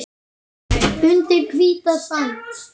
Undir hvíta sæng.